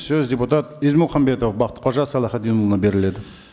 сөз депутат ізмұхамбетов бақтықожа салахитдинұлына беріледі